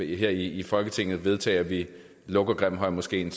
her i folketinget vedtage at vi lukker grimhøjmoskeen